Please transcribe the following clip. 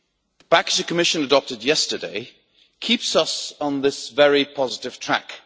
The package the Commission adopted yesterday keeps us on this very positive track.